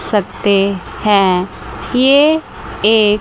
सकते हैं ये एक--